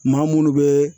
Maa munnu bɛ